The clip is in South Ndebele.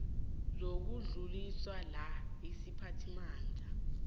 zokudluliswa la isiphathimandla